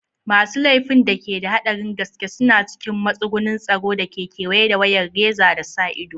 Masu laifin da ke da haɗarin gaske suna cikin matsugunin tsaro da ke kewaye da wayar reza da sa ido.